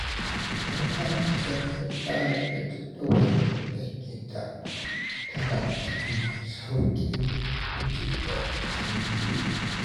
Idan Aisha ta tsara jadawalin aikinta, tana samun sauƙin gujewa jinkiri.